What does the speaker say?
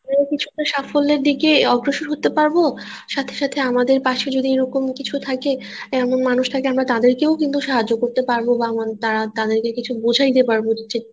কোন কিছু তে সাফল্যের দিকে অগ্রসর হতে পারব সাথে সাথে আমাদের পাশের ই এরকম কিছু থাকে এমন মানুষ দের আমরাও কিন্তু সাহায্য করতে পারব বা তাদেরকে কিছু বোঝাইতে পারব।